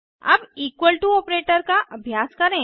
अब equal to operator का अभ्यास करें